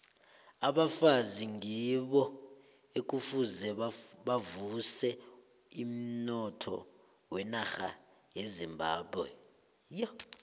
abafazi ngibo ekufuze bavuse umnotho wenarha yezimbabwe